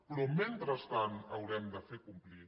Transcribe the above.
però mentrestant haurem de fer complir